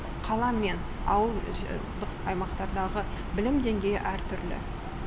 қала мен ауылдық аймақтардағы білім деңгейі әртүрлі